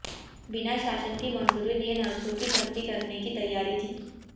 बिना शासन की मंजूरी लिए नर्सों की भर्ती करने की तैयारी थी